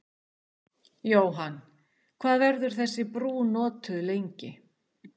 Jóhann, hvað verður þessi brú notuð lengi?